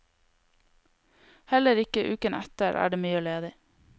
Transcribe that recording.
Heller ikke uken etter er det mye ledig.